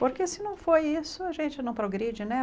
Porque se não for isso, a gente não progride, né?